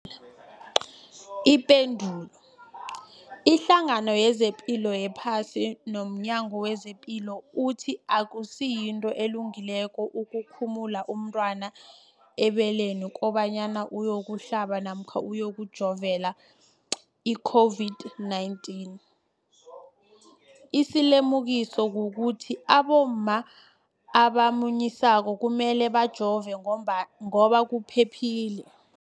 Ipendulo, iHlangano yezePilo yePhasi nomNyango wezePilo ithi akusinto elungileko ukulumula umntwana ebeleni kobanyana uyokuhlabela namkha uyokujovela i-COVID-19. Isilimukiso kukuthi abomma abamunyisako kumele bajove ngoba kuphephile.